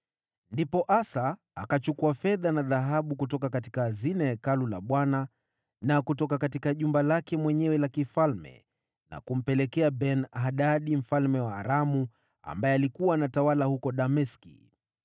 Ndipo Asa akachukua fedha na dhahabu kutoka hazina ya Hekalu la Bwana na kutoka jumba lake mwenyewe la kifalme na kumpelekea Ben-Hadadi mfalme wa Aramu, ambaye alikuwa anatawala huko Dameski.